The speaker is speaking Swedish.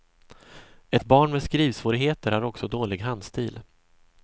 Ett barn med skrivsvårigheter har också dålig handstil.